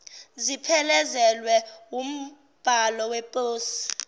ziphelezelwe wumbhalo weposi